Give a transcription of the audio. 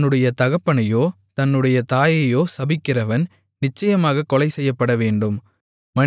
தன்னுடைய தகப்பனையோ தன்னுடைய தாயையோ சபிக்கிறவன் நிச்சயமாகக் கொலைசெய்யப்படவேண்டும்